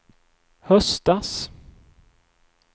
höstas